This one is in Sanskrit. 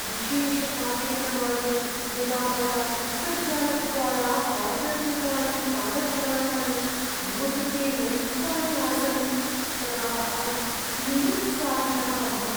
विशेषकार्यक्रमाय यदा मया अन्तर्जालद्वारा आर्डर् कृतानि पादत्राणानि मम कृते न युक्तानि आसन् तदा अहं निरुत्साहितः अभवम्।